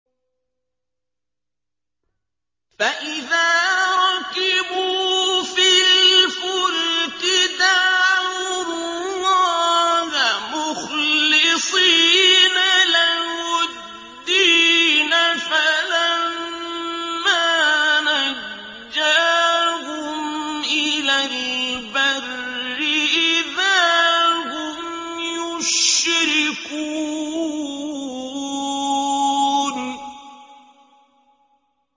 فَإِذَا رَكِبُوا فِي الْفُلْكِ دَعَوُا اللَّهَ مُخْلِصِينَ لَهُ الدِّينَ فَلَمَّا نَجَّاهُمْ إِلَى الْبَرِّ إِذَا هُمْ يُشْرِكُونَ